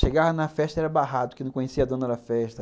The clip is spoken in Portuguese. Chegava na festa e era barrado, porque não conhecia a dona da festa.